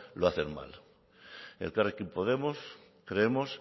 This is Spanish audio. lo hacen mal elkarrekin podemos creemos